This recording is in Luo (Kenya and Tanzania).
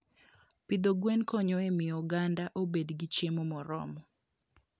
Pidho gwen konyo e miyo oganda obed gi chiemo moromo.